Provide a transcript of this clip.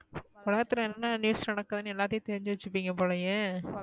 உலகத்துல என்ன news நடக்குதுன்னு எல்லாத்தையும் தெரிஞ்சு வச்சுபிங்க போலயே